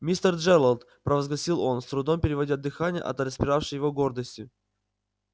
мистер джералд провозгласил он с трудом переводя дыхание от распиравшей его гордости